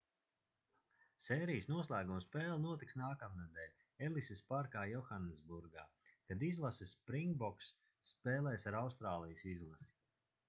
sērijas noslēguma spēle notiks nākamnedēļ elisas parkā johannesburgā kad izlase springboks spēlēs ar austrālijas izlasi